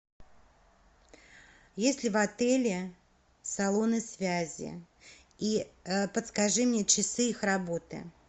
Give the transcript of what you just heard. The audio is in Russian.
есть ли в отеле салоны связи и подскажи мне часы их работы